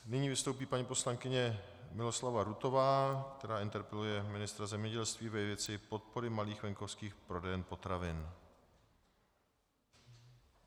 Nyní vystoupí paní poslankyně Miloslava Rutová, která interpeluje ministra zemědělství ve věci podpory malých venkovských prodejen potravin.